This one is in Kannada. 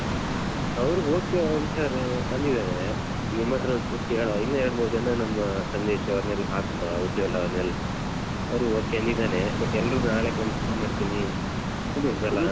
ಅವರು okay ಅಂತಾರೆ ಅಂದಿದ್ದಾರೆ ನಿಮ್ಮತ್ರ ಒಂದ್ಸಲ ಕೇಳುವ ಇನ್ನು ಎರಡ್ ಮೂರ್ ಜನ ನಮ್ಮ ಸಂದೇಶ್ ಅವರನ್ನೆಲಾ ಹಾಕುವ. ಉಜ್ವಲ್ ಅವರನ್ನೆಲ್ಲ ಅವನು okay ಅಂದಿದ್ದಾನೆ but ಎಲ್ಲ್ರು ನಾಳೆ confirm ಮಾಡ್ತೀನಿ.